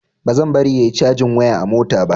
Bazan bari yayi cajin waya a mota ba.